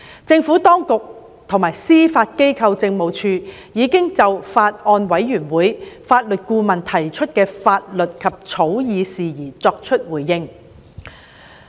政府當局及司法機構政務處已就法案委員會法律顧問提出的法律及草擬事宜作出回應。